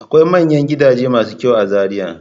Akwai manyan gidaje masu kyau a Zariya.